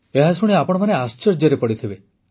ଏହା ଶୁଣି ଆପଣମାନେ ଆଶ୍ଚର୍ଯ୍ୟରେ ପଡ଼ିଥିବେ